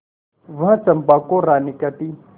वह चंपा को रानी कहती